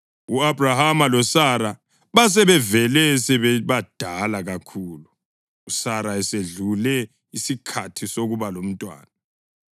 U-Abhrahama loSara basebevele sebebadala kakhulu, uSara esedlule isikhathi sokuba labantwana.